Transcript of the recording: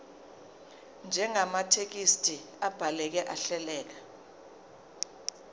njengamathekisthi abhaleke ahleleka